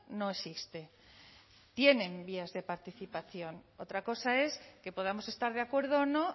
no existe tienen vías de participación otra cosa es que podamos estar de acuerdo o no